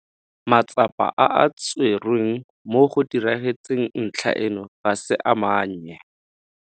Matsapa a a tserweng mo go diragatseng ntlha eno ga se a mannye.